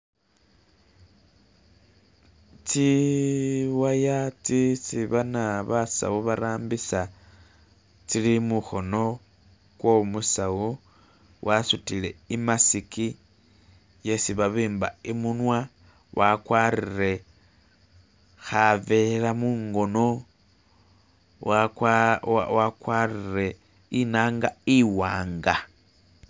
tsiwaya tsisi bana basawo barambisa tsili muhono kwomusawo wasutile imasiki yesi babimba imunwa wakwarire havela mungono wakwarire inanga iwanga